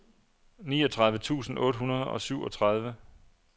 niogtredive tusind otte hundrede og syvogtredive